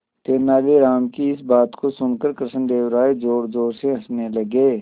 तेनालीराम की इस बात को सुनकर कृष्णदेव राय जोरजोर से हंसने लगे